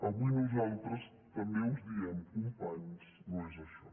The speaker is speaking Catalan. avui nosaltres també us diem companys no és això